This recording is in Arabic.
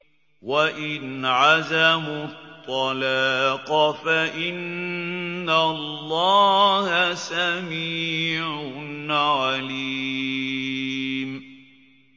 وَإِنْ عَزَمُوا الطَّلَاقَ فَإِنَّ اللَّهَ سَمِيعٌ عَلِيمٌ